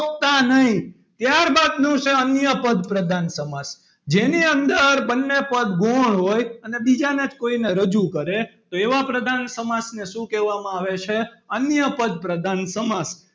ગોખતા નહીં ત્યારબાદનું છે. અન્ય પદ પ્રધાન સમાસ જેની અંદર બંને પદ ગૌણ હોય અને બીજાના જ કોઈને રજૂ કરે. તો એવા પ્રધાન સમાસને શું કહેવામાં આવે છે? અન્ય પદ પ્રધાન સમાસ,